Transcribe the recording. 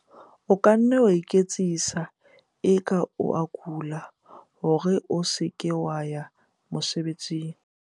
o ka nna wa iketsisa eka o a kula hore o se ke wa ya mosebesing